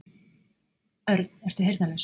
Örn, ertu heyrnarlaus?